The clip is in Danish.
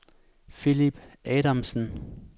Philip Adamsen